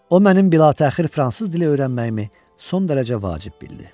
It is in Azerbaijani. O mənim bilatəxir fransız dili öyrənməyimi son dərəcə vacib bildi.